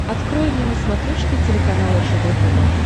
открой мне на смотрешке телеканал ржд тв